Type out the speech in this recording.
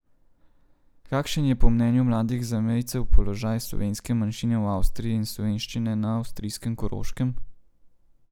Kakšen je po mnenju mladih zamejcev položaj slovenske manjšine v Avstriji in slovenščine na avstrijskem Koroškem?